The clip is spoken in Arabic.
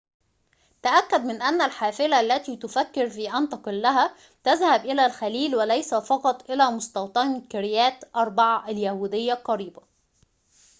تأكد من أن الحافلة التي تفكر في أن تقلها تذهب إلى الخليل وليس فقط إلى مستوطنة كريات أربع اليهودية القريبة